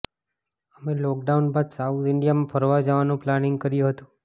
અમે લોકડાઉન બાદ સાઉથ ઈન્ડિયામાં ફરવા જવાનું પ્લાનિંગ કર્યું હતું